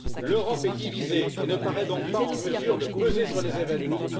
L'Europe est divisée et ne paraît donc pas en mesure de peser sur les événements.